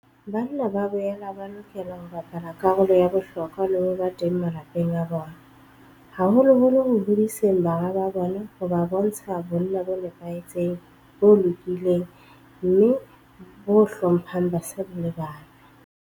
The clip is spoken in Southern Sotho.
Banna ba boela ba lokela ho bapala karolo ya bohlokwa le ho ba teng malapeng a bona, haholoholo ho hodiseng bara ba bona ho bontsha bonna bo nepahetseng, bo lokileng mme bo hlo mphang basadi le bana.